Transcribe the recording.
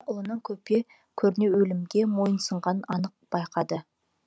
ұлының көпе көрнеу өлімге мойынсұнғанын анық байқады